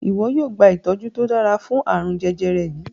iwọ yóò gba itọju to dára fún arun jẹjẹrẹ yí.